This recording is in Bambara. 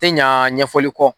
Tɛ ɲa ɲɛfɔli kɔ.